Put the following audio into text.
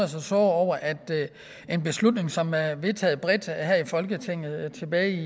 sig såre over at en beslutning som er vedtaget bredt her i folketinget tilbage